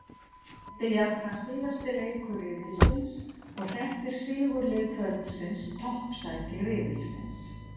Þetta er jafnframt síðasti leikur riðilsins og hreppir sigurlið kvöldsins toppsæti riðilsins.